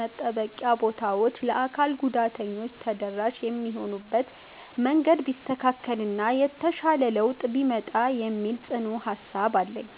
መጠበቂያ ቦታዎች ለአካል ጉዳተኞች ተደራሽ የሚሆኑበት መንገድ ቢስተካከል እና የተሻለ ለውጥ ቢመጣ የሚል ጽኑ ሃሳብ አለኝ።